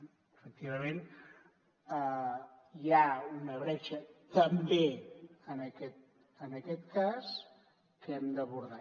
efectivament hi ha una bretxa també en aquest cas que hem d’abordar